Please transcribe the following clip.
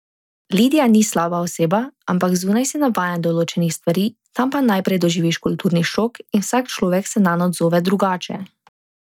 Lidija ni slaba oseba, ampak zunaj si navajen določenih stvari, tam pa najprej doživiš kulturni šok in vsak človek se nanj odzove drugače.